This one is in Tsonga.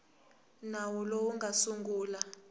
nawu lowu wu nga sungula